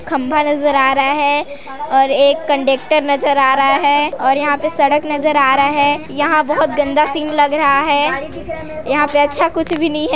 खम्भा नजर आ रहा है और एक कंडक्टर नजर आ रहा है और यहाँ पे सड़क नजर आ रहा है यहाँ बहुत गंदा सीन लग रहा है यहाँ पे अच्छा कुछ भी नहीं है।